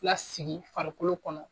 Lasigi farikolo kɔnɔ